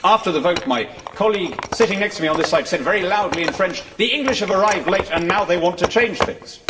After the vote my colleague sitting next to me on this side said very loudly in French, the English have arrived late and now they want to change things'.